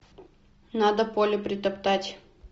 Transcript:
надо поле притоптать